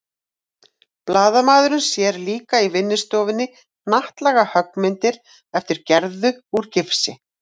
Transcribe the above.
Blaðamaðurinn sér líka í vinnustofunni hnattlaga höggmyndir eftir Gerði úr gifsi.